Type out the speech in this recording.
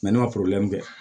ne ma kɛ